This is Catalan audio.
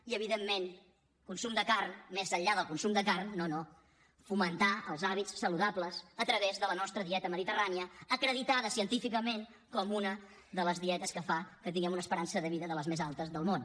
i evidentment consum de carn més enllà del consum de carn no no fomentar els hàbits saludables a través de la nostra dieta mediterrània acreditada científicament com una de les dietes que fa que tinguem una esperança de vida de les més altes del món